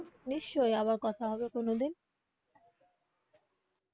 নিশ্চই আবার কথা হবে কোনোদিন.